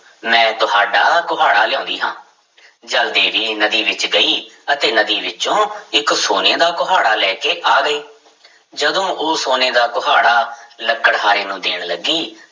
ਮੈਂ ਤੁਹਾਡਾ ਕੁਹਾੜਾ ਲਿਆਉਂਦੀ ਹਾਂ ਜਲ ਦੇਵੀ ਨਦੀ ਵਿੱਚ ਗਈ ਅਤੇ ਨਦੀ ਵਿੱਚੋਂ ਇੱਕ ਸੋਨੇ ਦਾ ਕੁਹਾੜਾ ਲੈ ਕੇ ਆ ਗਈ ਜਦੋਂ ਉਹ ਸੋਨੇ ਦਾ ਕੁਹਾੜਾ ਲੱਕੜਹਾਰੇ ਨੂੰ ਦੇਣ ਲੱਗੀ